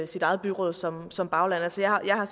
sit eget byråd som som bagland altså jeg har